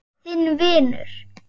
Þinn vinur.